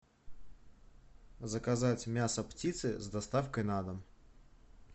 заказать мясо птицы с доставкой на дом